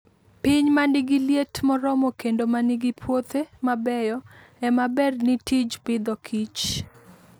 Piny ma nigi liet moromo kendo ma nigi puothe mabeyo, ema ber ne tij Agriculture and Food.